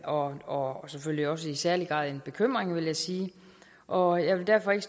og og selvfølgelig også i særlig grad en bekymring vil jeg sige og jeg vil derfor ikke